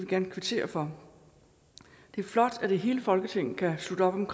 gerne kvittere for det er flot at hele folketinget kan slutte op om